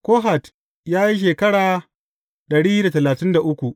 Kohat ya yi shekara dari da talatin da uku.